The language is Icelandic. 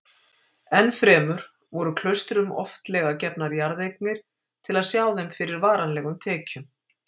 Ennfremur voru klaustrum oftlega gefnar jarðeignir til að sjá þeim fyrir varanlegum tekjum.